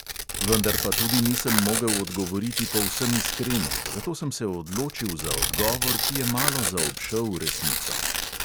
Vendar pa tudi nisem mogel odgovoriti povsem iskreno, zato sem se odločil za odgovor, ki je malo zaobšel resnico.